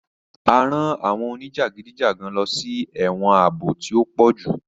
A rán àwọn onijagidijagan lọsí ẹwọn ààbò tí o pojú